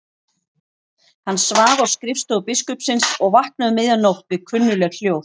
Hann svaf á skrifstofu biskupsins og vaknaði um miðja nótt við kunnugleg hljóð.